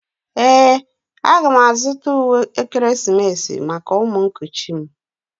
Ee, a ga m azụta uwe ekeresimesi maka ụmụ nkuchi m